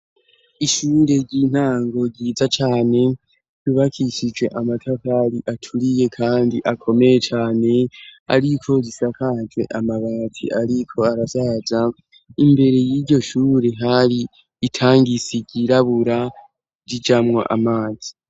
ishure ry'intango ryiza cane ryubakishije amatafari aturiye kandi akomeye cane ariko zisakaje amabati ariko arasaza imbere y'iryo shure hari itangisi ryirabura rijamwo amazi